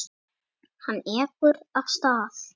Hann ekur af stað.